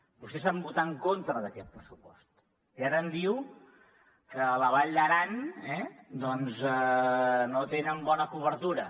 vostès van votar en contra d’aquest pressupost i ara em diu que a la vall d’aran doncs no tenen bona cobertura